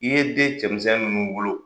I ye den cɛmisɛn nunnu wolo